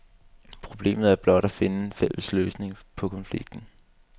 Problemet er blot at finde en fælles løsning på konflikten.